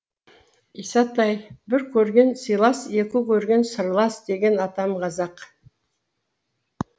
исатай бір көрген сыйлас екі көрген сырлас деген атам қазақ